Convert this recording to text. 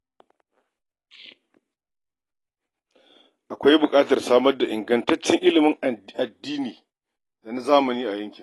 Akwai buƙatar a samar da ingantaccen ilimin addini da na zamani a yankin.